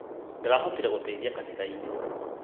Ndĩrahotire guteithia kanithainĩ